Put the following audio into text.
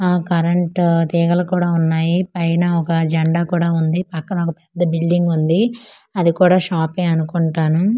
ఆ కరెంటు తీగలు కుడా వున్నాయి పైన ఒక జండా కూడా వుంది పక్కన ఒక పెద్ద బిల్డింగ్ వుంది అది కూడా షాపే అనుకుంటాను.